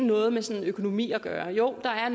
noget med økonomi at gøre jo der er